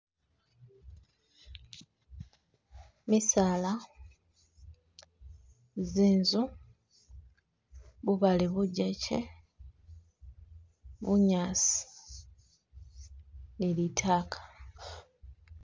Misaala, zinzu, bubaale bujekye, bunyasi ni litaaka